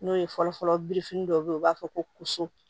N'o ye fɔlɔfɔlɔ birifini dɔ bɛ ye u b'a fɔ ko so